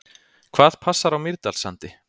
Hvað passar á Mýrdalssandi?